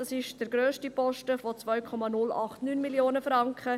Das ist der grösste Posten mit 2,089 Mio. Franken.